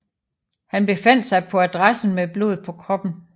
Han befandt sig på adressen med blod på kroppen